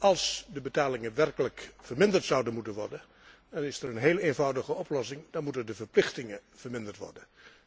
Als de betalingen werkelijk verminderd zouden moeten worden, dan is er één heel eenvoudige oplossing dan moeten de verplichtingen verminderd worden.